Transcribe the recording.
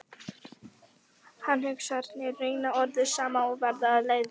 Allar hugsanirnar renna orðið saman og verða að leðju.